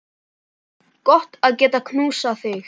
Gott að geta knúsað þig.